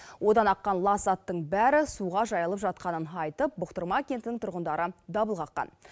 одан аққан лас заттың бәрі суға жайылып жатқанын айтып бұхтырма кентінің тұрғындары дабыл қаққан